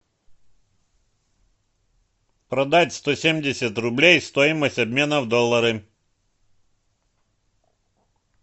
продать сто семьдесят рублей стоимость обмена в доллары